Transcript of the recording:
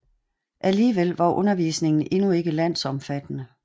Alligevel var undervisningen endnu ikke landsomfattende